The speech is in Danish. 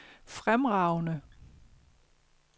fremragende